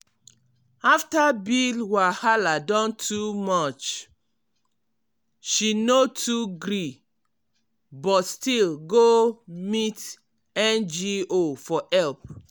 after bill wahala don too much she no too gree but still go meet ngo um for help.